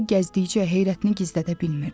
Turqay gəzdikcə heyrətini gizlədə bilmirdi.